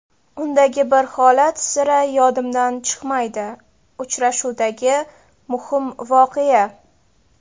Undagi bir holat sira yodimdan chiqmaydi... Uchrashuvdagi muhim voqea.